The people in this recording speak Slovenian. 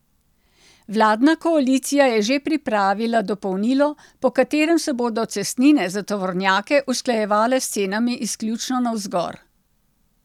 Vladna koalicija je že pripravila dopolnilo, po katerem se bodo cestnine za tovornjake usklajevale s cenami izključno navzgor.